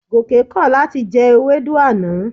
Gòkè kọ̀ láti jẹ ewédú àná.